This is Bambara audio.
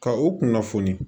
Ka u kunnafoni